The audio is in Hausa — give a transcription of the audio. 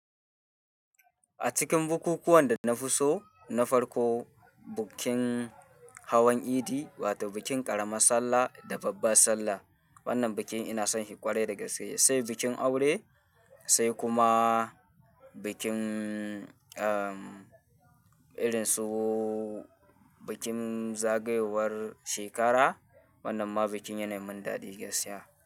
A cikin bukukuwan da na fi so, na farko, bukin hawan idi wato bikin ƙaramar sallah da babbar sallah. Wannan bikin ina son shi ƙwarai da gaske, sai bikin aure, sai kuma. Bikin, irin su bikin zagayowar shekara. Wannan ma bikin yanai min daɗi gaskiya.